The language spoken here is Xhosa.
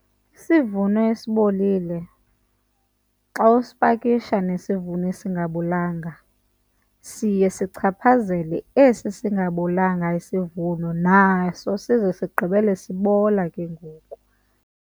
Isivuno esibolile xa usipakisha nesivuno esingabolanga siye sichaphazele esi singabolanga isivuno naso size sigqibele sibola ke ngoku.